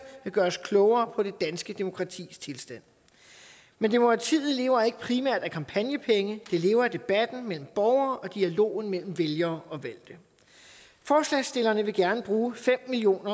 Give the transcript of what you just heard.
vil gøre os klogere på det danske demokratis tilstand men demokratiet lever ikke primært af kampagnepenge det lever af debatten mellem borgere og dialogen mellem vælgere og valgte forslagsstillerne vil gerne bruge fem million